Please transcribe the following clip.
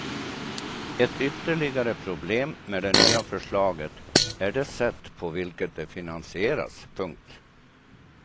Ett ytterligare problem med det nya förslaget är det sätt på vilket det finansieras. punkt